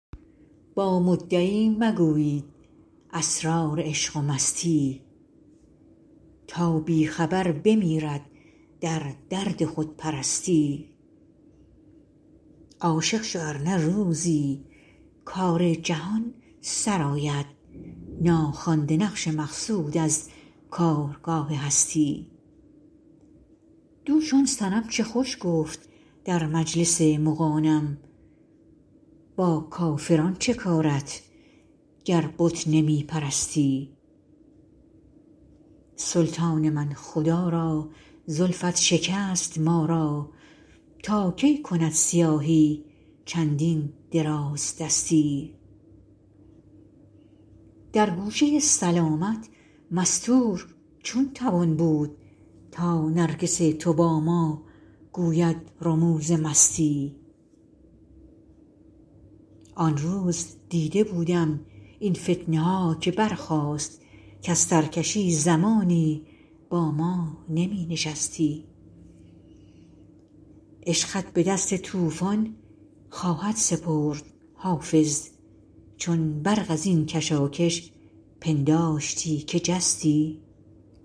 با مدعی مگویید اسرار عشق و مستی تا بی خبر بمیرد در درد خودپرستی عاشق شو ار نه روزی کار جهان سرآید ناخوانده نقش مقصود از کارگاه هستی دوش آن صنم چه خوش گفت در مجلس مغانم با کافران چه کارت گر بت نمی پرستی سلطان من خدا را زلفت شکست ما را تا کی کند سیاهی چندین درازدستی در گوشه سلامت مستور چون توان بود تا نرگس تو با ما گوید رموز مستی آن روز دیده بودم این فتنه ها که برخاست کز سرکشی زمانی با ما نمی نشستی عشقت به دست طوفان خواهد سپرد حافظ چون برق از این کشاکش پنداشتی که جستی